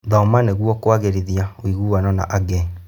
Thoma nĩguo kũagĩrithia ũiguano na angĩ.